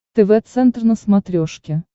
тв центр на смотрешке